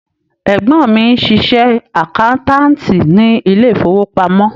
Ẹ̀gbọ́n mi ń ṣiṣẹ́ àkáńtáàtì ní ilé ìfowópamọ́.